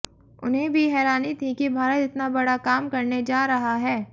उन्हें भी हैरानी थी कि भारत इतना बड़ा काम करने जा रहा है